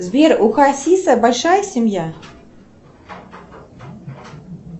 сбер у хасиса большая семья